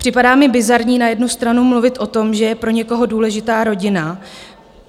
Připadá mi bizarní na jednu stranu mluvit o tom, že je pro někoho důležitá rodina.